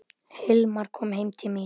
Hilmar kom heim til mín.